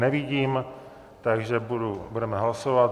Nevidím, takže budeme hlasovat.